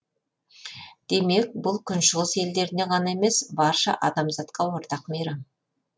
демек бұл күншығыс елдеріне ғана емес барша адамзатқа ортақ мейрам